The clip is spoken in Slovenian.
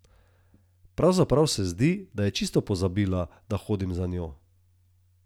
Pravzaprav se zdi, da je čisto pozabila, da hodim za njo.